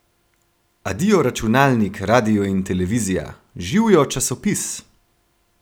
Adijo, računalnik, radio in televizija, živijo, časopis!